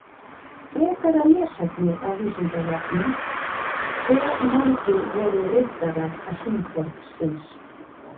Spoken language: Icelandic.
Frekara lesefni á Vísindavefnum: Hve margir voru riddarar hringborðsins?